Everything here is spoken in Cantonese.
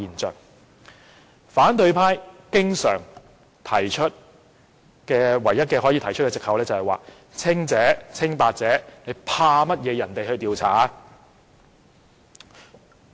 他們唯一可以提出的藉口是："清白者為何要怕人調查？